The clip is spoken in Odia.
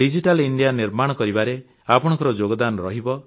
ଡିଜିଟାଲ ଇଣ୍ଡିଆ ନିର୍ମାଣ କରିବାରେ ଆପଣଙ୍କର ଯୋଗଦାନ ରହିବ